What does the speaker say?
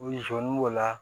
U sɔnni b'o la